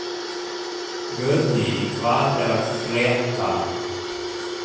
Guðný, hvað er að frétta?